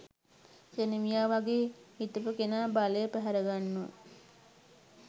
සෙනවියා වගේ හිටපු කෙනා බලය පැහැරගන්නව